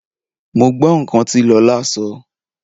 Mo gbọ́ nǹkan tí Lọlá sọ oo.